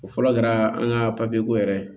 O fɔlɔ kɛra an ka papiye ko yɛrɛ